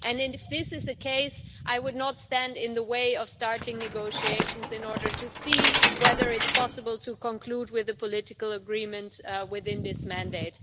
If this is the case, I would not stand in the way of starting negotiations in order to see whether it's possible to conclude with a political agreement within this mandate.